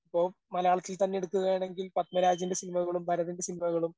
ഓം മലയാളത്തിൽ തന്നെ എടുക്കുകയാണെങ്കിൽ പത്മരാജൻ്റെ സിനിമകളും, ഭാരതൻ്റെ സിനിമകളും